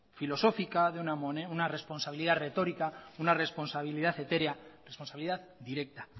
filosófica de una responsabilidad retórica una responsabilidad etérea responsabilidad directa